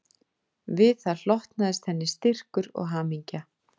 Við það hlotnaðist henni styrkur og hamingja